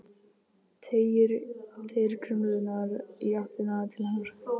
Teygir krumlurnar í áttina til hennar.